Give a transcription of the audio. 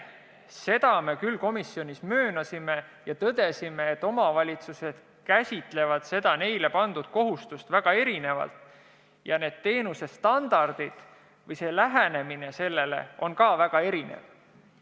Me komisjonis tõdesime, et omavalitsused käsitavad seda neile pandud kohustust väga erinevalt ja teenusestandardid või sellele lähenemine on ka väga erinev.